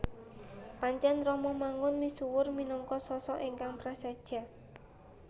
Pancèn Romo Mangun misuwur minangka sosok ingkang prasaja